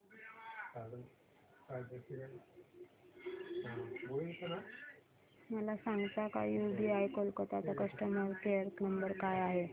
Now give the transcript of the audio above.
मला सांगता का यूबीआय कोलकता चा कस्टमर केयर नंबर काय आहे